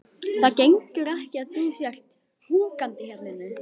Það gengur ekki að þú sért húkandi hérna inni.